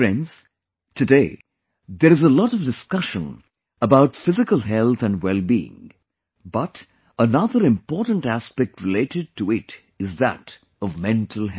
Friends, today there is a lot of discussion about physical health and wellbeing, but another important aspect related to it is that of mental health